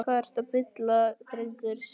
Hvað ertu að bulla drengur? hváði Steingerður.